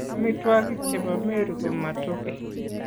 Amitwokik che bo Meru ko Matoke.